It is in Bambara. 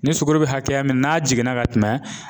Ni sugororo be hakɛya min n'a jiginna ka tɛmɛ